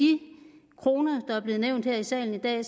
det der er blevet nævnt her i salen i dag